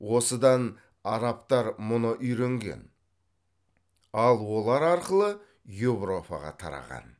осыдан арабтар мұны үйренген ал олар арқылы еуропаға тараған